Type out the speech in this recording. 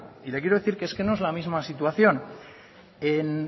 y le quiero decir que es que no es la misma situación en